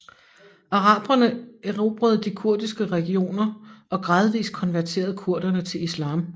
Araberne erobrede de kurdiske regioner og gradvis konverterede kurderne til Islam